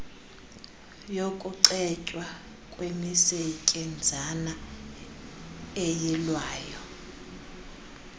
yokucetywa kwemisetyenzana eyilwayo